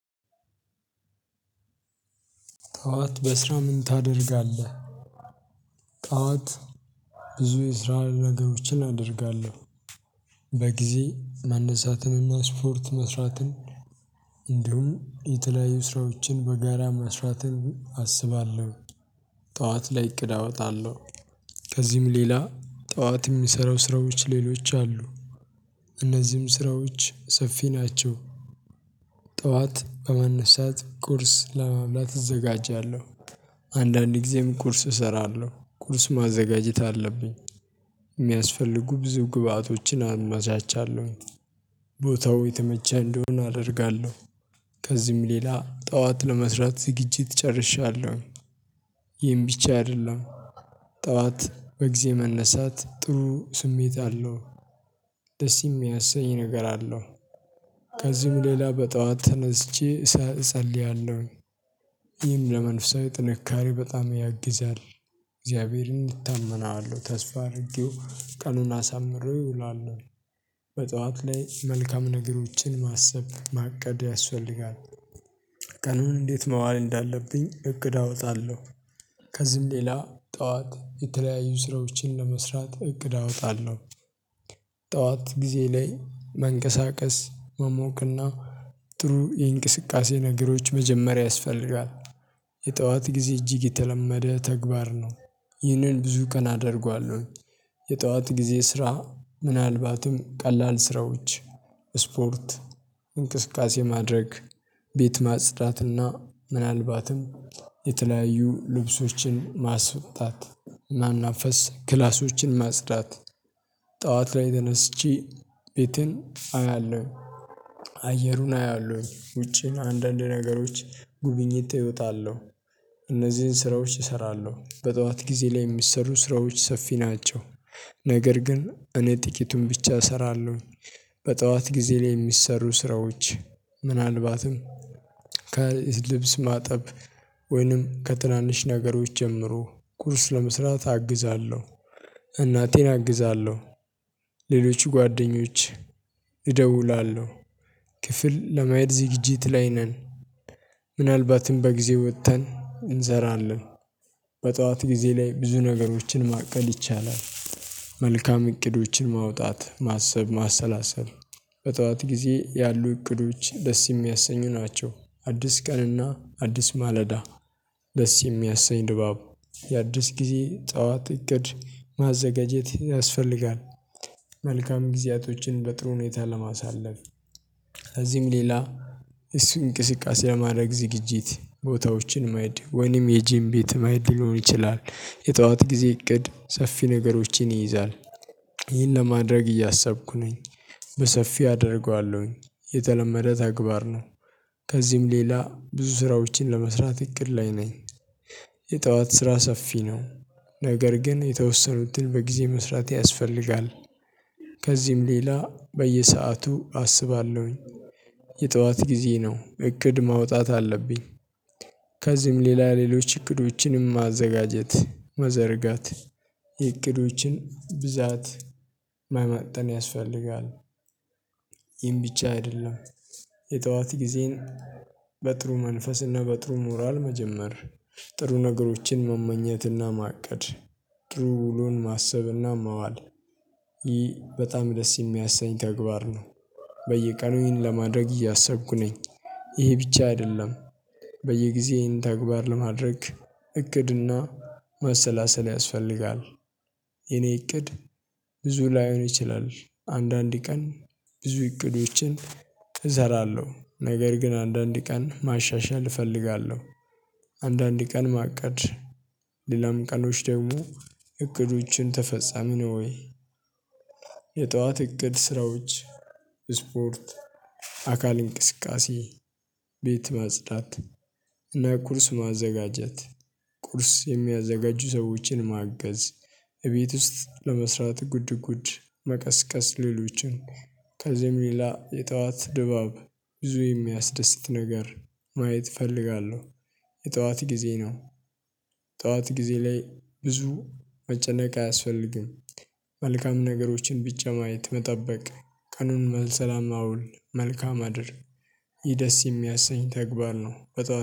ጠዋት በስራ ምን ታደርጋለህ? ጠዋት ብዙ የስራ ነገሮችን አደርጋለሁ። በጊዜ መነሳትንና ስፖርት መስራትን እንዲሁም የተለያዩ ስራዎችን በጋራ መስራትን አስባለሁ። ጠዋት ላይ እቅድ አወጣለሁ። ከዚህም ሌላ ጠዋት የሚሰራው ስራዎች ሌሎች አሉ። እነዚህም ስራዎች ሰፊ ናቸው። ጠዋት በመነሳት ቁርስ ለመብላት እዘጋጃለሁ። አንዳንድ ጊዜም ቁርስ እሰራለሁ ቁርስ ማዘጋጀት አለብኝ። የሚያስፈልጉ ብዙ ግብአቶችን አመቻቻለሁኝ። ቦታው የተመቸ እንዲሆነ አደርጋለሁ። ከዚህም ሌላ ጠዋት ለመስራት ዝግጅት ጨርሻለሁ። ይህን ብቻ አይደለም። ጠዋት በጊዜ መነሳት ጥሩ ስሜት አለው። ደስ የሚያሰኝ ነገር አለው። ከዚህም ሌላ በጠዋት ተነስቼ እጸልያለሁኝ። ይህም ለመንፈሳዊ ጥንካሬ በጣም ያግዛል። እግዚአብሔርን እታመናለሁ ተስፋ አድርጊው ቀኑን አሳምሬው እውላለሁ። በጧት ላይ መልካም ነገሮችን ማሰብ ማቀድ ያስፈልጋል። ቀኑን እንዴት መዋል እንዳለብኝ እቅድ አወጣለሁ። ከዚህም ሌላ ጠዋት የተለያዩ ስራዎችን ለመስራት እቅድ አወጣለሁ። ጠዋት ጊዜ ላይ መንቀሳቀስ መሞቅና ጥሩ የእንቅስቃሴ ነገሮች መጀመሪያ ያስፈልጋል። የጠዋት ጊዜ እጅግ የተለመደ ተግባር ነው። ይህንን ብዙ ቀን አደርገዋለሁ። የጠዋት ጊዜ ስራ ምናልባትም ቀላል ስራዎች ስፖርት እንቅስቃሴ ማድረግ ቤት ማጽዳትና ምናልባትም የተለያዩ ልብሶችን ማስወጣት ማናፈስ ክላሶችን ማጽዳት። ጠዋት ላይ ተነስቼ ቤቴን አያለሁ አየሩን አያለሁ ውጪን አንዳንድ ነገሮች ጉብኝት እወጣለሁ። እነዚህን ስራዎች እሰራለሁ በጠዋት ጊዜ ላይ የሚሰሩ ስራዎች ሰፊ ናቸው። ነገር ግን እኔ ጥቂቱን ብቻ እሰራለሁ። በጠዋት ጊዜ ላይ የሚሰሩ ስራዎች ምናልባትም ከልብስ ማጠብ ወይንም ከትናንሽ ነገሮች ጀምሮ ቁርስ ለመስራት አግዛለሁ። እናቴን አግዛለሁ። ሌሎች ጓደኞች እደውላለሁ ክፍል ለማየት ዝግጅት ላይ ነን። ምናልባትም በጊዜ ወጥተን እንሰራለን። በጧት ጊዜ ላይ ብዙ ነገሮችን ማቀል ይቻላል። መልካም እቅዶችን ማውጣት ማሰብ ማሰላሰብ በጠዋት ጊዜ ያሉ እቅዶች ደስ የሚያሰኙ ናቸው። አዲስ ቀንና አዲስ ማለዳ ደስ የሚያሰኝ ድባብ የአዲስ ጊዜ ጠዋት እቅድ ማዘጋጀት ያስፈልጋል። መልካም ጊዜያቶችን በጥሩ ሁኔታ ለማሳለፍ። ከዚህም ሌላ እሱን እንቅስቃሴ ለማድረግ ዝግጅት ቦታዎችን ማሄድ ወይንም የጂም ቤት ማሄድ ሊሆን ይችላል የጠዋት ጊዜ እቅድ ሰፊ ነገሮችን ይይዛል። ይህን ለማድረግ እያሰብኩ ነኝ። በሰፊ አደርገዋለሁኝ የተለመደ ተግባር ነው። ከዚህም ሌላ ብዙ ስራዎችን ለመስራት እቅድ ላይ ነኝ። የጠዋት ስራ ሰፊ ነው። ነገር ግን የተወሰኑትን በጊዜ መስራት ያስፈልጋል። ከዚህም ሌላ በየሰአቱ አስባለሁኝ። የጠዋት ጊዜ ነው እቅድ ማውጣት አለብኝ። ከዚህም ሌላ ሌሎች እቅዶችንም ማዘጋጀት መዘርጋት የእቅዶችን ብዛት መመጠን ያስፈልጋል። ይህን ብቻ አይደለም። የጠዋት ጊዜን በጥሩ መንፈስ እና በጥሩ ሞራል መጀመር ጥሩ ነገሮችን መመኘትና ማቀድ ጥሩ ውሎን ማሰብና መዋል ይህ በጣም ደስ የሚያሰኝ ተግባር ነው። በየቀኑ ይህን ለማድረግ እያሰብኩ ነኝ። ይሄ ብቻ አይደለም። በየጊዜ ይህን ተግባር ለማድረግ እቅድና ማሰላሰል ያስፈልጋል። የኔ እቅድ ብዙ ላይሆን ይችላል አንዳንድ ቀን ብዙ እቅዶችን እዘራለሁ ነገር ግን አንዳንዴ ቀን ማሻሻል እፈልጋለሁ። አንዳንድ ቀን ማቀድ ሌላም ቀኖች ደግሞ እቅዶችን ተፈጻሚ ነው ወይ? የጠዋት እቅድ ስራዎች ስፖርት አካል እንቅስቃሴ ቤት ማጽዳት እና ቁርስ ማዘጋጀት ቁርስ የሚያዘጋጁ ሰዎችን ማገዝ። እቤት ውስጥ ለመስራት ጉድ ጉድ መቀስቀስ ሌሎችን ከዚህም ሌላ የጠዋት ድባብ ብዙ የሚያስደስት ነገር ማየት እፈልጋለሁ። የጠዋት ጊዜ ነው። ጠዋት ጊዜ ላይ ብዙ መጨነቅ አያስፈልግም። መልካም ነገሮችን ብቻ ማየት መጠበቅ ቀኑን መልሰላም አውል መልካም አድር። ይህ ደስ የሚያሰኝ ተግባር ነው። በጣም